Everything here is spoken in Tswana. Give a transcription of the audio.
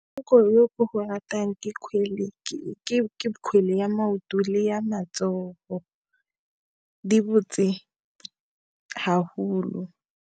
Motshameko yo ko go ratang ke kgwele, ke kgwele ya maoto le ya matsogo, di botse ha holo.